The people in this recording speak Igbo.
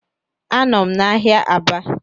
A nọm n’ahiá Aba